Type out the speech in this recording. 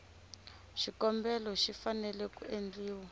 xikombelo xi fanele ku endliwa